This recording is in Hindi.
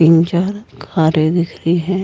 तीन चार कारें दिख रही हैं।